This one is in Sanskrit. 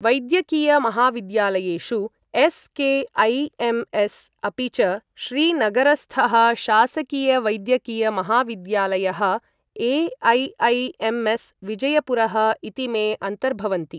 वैद्यकीयमहाविद्यालयेषु एस्.के.ऐ.एम्.एस्., अपि च श्रीनगरस्थः शासकीयवैद्यकीयमहाविद्यालयः, ए.ऐ.ऐ.एम्.ऎस् विजयपुरः इतीमे अन्तर्भवन्ति।